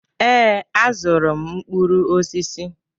Ee, azụrụ m mkpụrụ osisi.